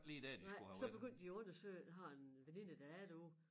Nej så begyndte de at undersøge har en veninde der er derude